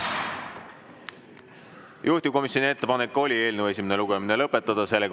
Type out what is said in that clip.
Juhtivkomisjoni ettepanek oli eelnõu esimene lugemine lõpetada.